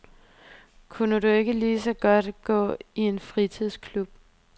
Kunne du ikke lige så godt gå i en fritidsklub?